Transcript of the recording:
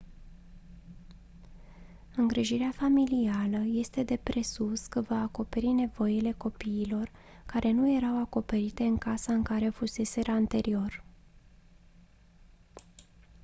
îngrijirea familială este de presupus că va acoperi nevoile copiilor care nu erau acoperite în casa în care fuseseră anterior